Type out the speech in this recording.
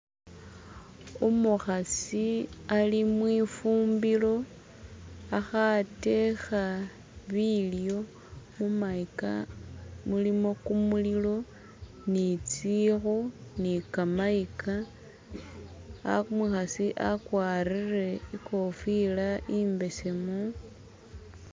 Umukhasi ali mwifumbilo akhatekha bilyo, mumayika mulimo kumulilo ni tsikhu ni kamayika, umukhasi akwarire i'kofila i'mbesemu